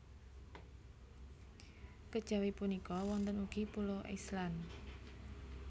Kejawi punika wonten ugi Pulo Island